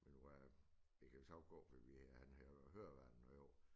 Men hvad det kan jo sagtens gå fordi vi han havde jo høreværn med i år